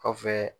Kɔfɛ